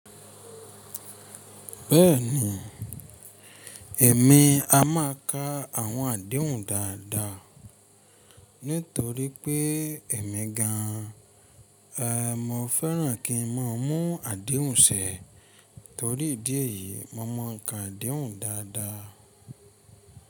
Bẹ́ẹ̀ni, èmi a máa ka àwọn àdéhùn dáadáa nítorí pé èmi gan an, mo fẹ́ràn kí n máa mú àdéhùn ṣẹ. Torí ìdí èyií, mo máa ń ka àdéhùn dáadáa.